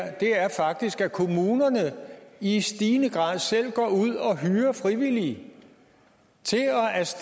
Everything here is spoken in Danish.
faktisk er at kommunerne i stigende grad selv går ud og hyrer frivillige til